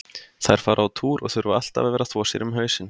Þær fara á túr og þurfa alltaf að vera að þvo sér um hausinn.